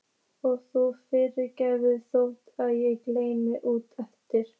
Og þú fyrirgefur þótt ég skreppi út eftir.